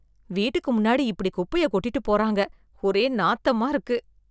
வீட்டுக்கு முன்னாடி இப்படி குப்பையை கொட்டிட்டு போறாங்க ஒரே நாத்தமா இருக்கு